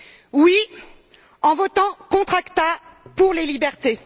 Oui, en votant contre l'ACTA, pour les libertés.